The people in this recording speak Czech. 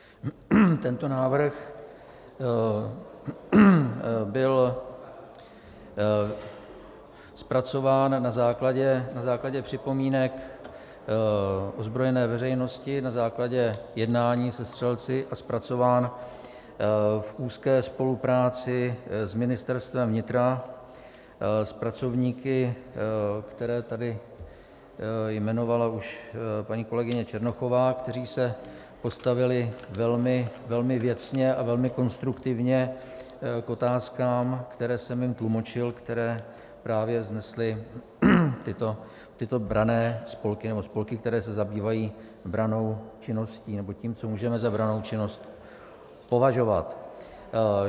Tento návrh byl zpracován na základě připomínek ozbrojené veřejnosti, na základě jednání se střelci a zpracován v úzké spolupráci s Ministerstvem vnitra, s pracovníky, které tady jmenovala už paní kolegyně Černochová, kteří se postavili velmi věcně a velmi konstruktivně k otázkám, které jsem jim tlumočil, které právě vznesly tyto branné spolky, nebo spolky, které se zabývají brannou činností nebo tím, co můžeme za brannou činnost považovat.